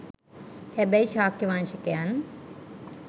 හැබැයි ශාක්‍ය වංශිකයන්